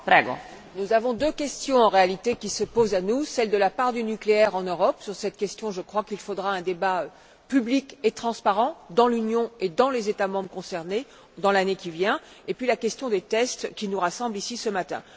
Madame la Présidente, nous avons en réalité deux questions qui se posent à nous celle de la part du nucléaire en Europe sur cette question, je crois qu'il faudra un débat public et transparent dans l'Union et dans les États membres concernés, dans l'année à venir et la question des tests qui nous rassemble ici ce matin.